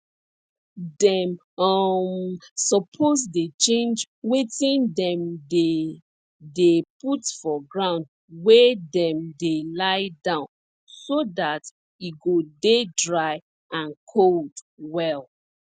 dem um suppose dey change wetin dem dey dey put for ground wey dem dey lie down so dat e go dey dry and cold well